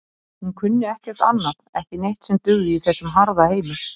Hún kunni ekkert annað ekki neitt sem dugði í þessum harða heimi.